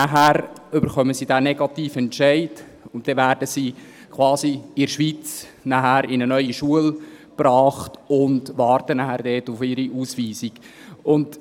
Nachher erhalten sie diesen negativen Entscheid, und dann werden sie in der Schweiz in eine neue Schule gebracht und warten dort auf ihre Ausweisung.